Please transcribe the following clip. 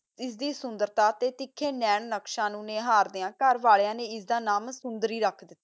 ਆਸ ਦੀ ਸੋੰਦਾਰਤਾ ਦਾ ਤਿਖਾ ਨਾਨ੍ਨਾਕ੍ਚ ਆਸ ਕਰ ਕਾ ਕਰ ਵਾਲਿਆ ਨਾ ਇਸ ਦਾ ਨਾਮ ਸੋੰਦਾਰੀ ਰਖ ਦਿਤਾ